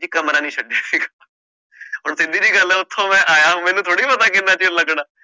ਕਿ ਕਮਰਾ ਨੀ ਹੁਣ ਸਿੱਧੀ ਜਿਹੀ ਗੱਲ ਹੈ ਉੱਥੋਂ ਮੈਂ ਆਇਆ ਮੈਨੂੰ ਥੋੜ੍ਹੀ ਪਤਾ ਕਿ ਕਿੰਨਾ ਚਿਰ ਲੱਗਣਾ